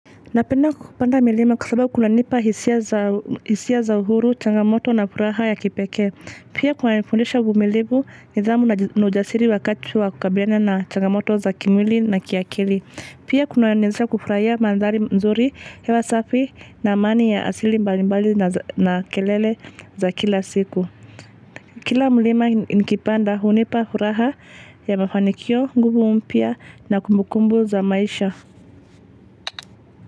Napenda kupanda milima kwa sababu kunanipa hisia za uhuru, changamoto na furaha ya kipekee. Pia kunanifundisha uvumilivu nidhamu na ujasiri wakati wa kukabilana na changamoto za kimwili na kiakili. Pia kunaniwezesha kufurahia mandhari mzuri hewa safi na amani ya asili mbalimbali na kelele za kila siku. Kila mlima nikipanda hunipa furaha ya mafanikio, nguvu mpya na kumbukumbu za maisha.